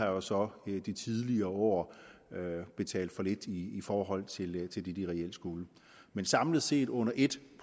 jo så i tidligere år har betalt for lidt i i forhold til det de de reelt skulle men samlet set under et